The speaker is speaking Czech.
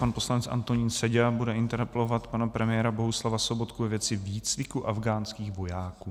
Pan poslanec Antonín Seďa bude interpelovat pana premiéra Bohuslava Sobotku ve věci výcviku afghánských vojáků.